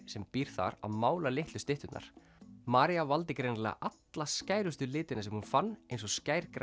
sem býr þar að mála litlu stytturnar María valdi greinilega alla skærustu litina sem hún fann eins og